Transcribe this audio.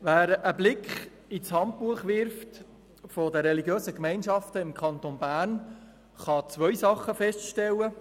Wer einen Blick in das «Handbuch der Religiösen Gemeinschaften im Kanton Bern» wirft, kann zwei Dinge feststellen.